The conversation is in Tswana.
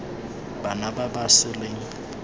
bana ba ba sa leng